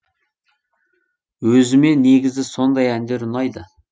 өзіме негізі сондай әндер ұнайды